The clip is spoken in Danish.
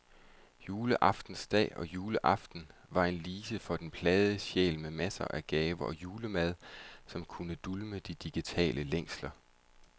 Juleaftensdag og juleaften var en lise for den plagede sjæl med masser af gaver og julemad, som kunne dulme de digitale længsler.